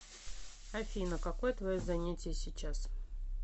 афина какое твое занятие сейчас